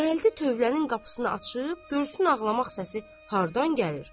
Gəldi tövlənin qapısını açıb, görsün ağlamaq səsi hardan gəlir?